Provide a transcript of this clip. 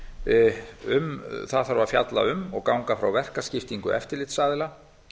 fjármálastöðugleikaráði það þarf að fjalla um og ganga frá verkaskiptingu eftirlitsaðila